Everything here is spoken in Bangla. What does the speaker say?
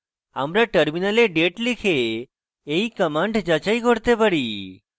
আমরা terminal date লিখে we command যাচাই করতে পারি